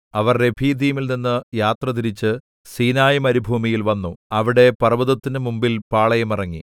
അവർ രെഫീദീമിൽനിന്ന് യാത്രതിരിച്ച് സീനായിമരുഭൂമിയിൽ വന്നു അവിടെ പർവ്വതത്തിന് മുമ്പിൽ പാളയമിറങ്ങി